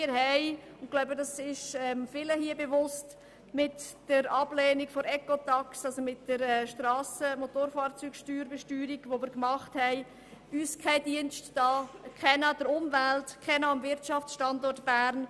Wir haben uns mit der Ablehnung von Ecotax, der Strassen- und Motorfahrzeugbesteuerung, keinen Dienst erwiesen und auch keinen an der Umwelt oder dem Wirtschaftsstandort Bern.